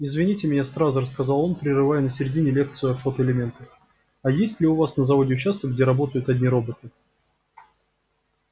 извините меня стразерс сказал он прерывая на середине лекцию о фотоэлементах а есть ли у вас на заводе участок где работают одни роботы